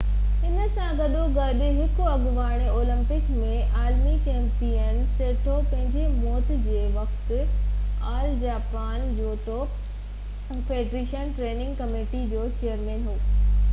انهي سان گڏو گڏ هڪ اڳوڻي اولمپڪ ۽ عالمي چيمپيئن، سيٽو پنهنجي موت جي وقت All Japan judo federation training committee جو چيئرمين هو